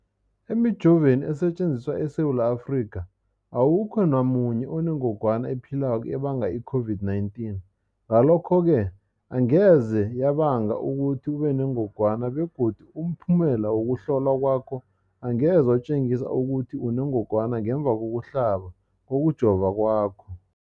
Emijoveni esetjenziswa eSewula Afrika, awukho namunye onengog wana ephilako ebanga i-COVID-19. Ngalokho-ke angeze yabanga ukuthi ubenengogwana begodu umphumela wokuhlolwan kwakho angeze watjengisa ukuthi unengogwana ngemva kokuhlaba, kokujova kwakho.